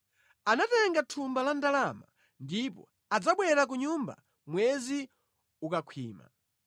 Anatenga thumba la ndalama ndipo adzabwera ku nyumba mwezi ukakhwima.”